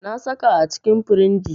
Na saka a cikin firinji.